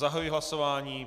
Zahajuji hlasování.